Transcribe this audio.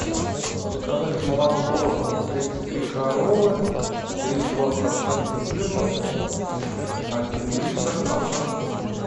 заказать молоко тридцать три коровы три и два процента жирности один литр одна штука